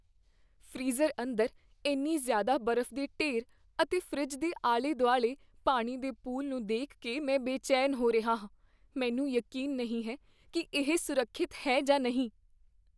Freezer ਅੰਦਰ ਇੰਨੀ ਜ਼ਿਆਦਾ ਬਰਫ਼ ਦੇ ਢੇਰ ਅਤੇ ਫਰਿੱਜ ਦੇ ਆਲੇ ਦੁਆਲੇ ਪਾਣੀ ਦੇ ਪੂਲ ਨੂੰ ਦੇਖ ਕੇ ਮੈਂ ਬੇਚੈਨ ਹੋ ਰਿਹਾ ਹਾਂ, ਮੈਨੂੰ ਯਕੀਨ ਨਹੀਂ ਹੈ ਕੀ ਇਹ ਸੁਰੱਖਿਅਤ ਹੈ ਜਾਂ ਨਹੀਂ।